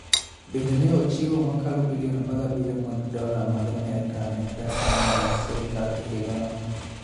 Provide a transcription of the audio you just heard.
Bende ne ochiwo mokalo bilion 17 mag dola mag Amerka ne pesa mag sirkal e higano.